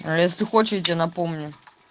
а если хочешь я тебе напомню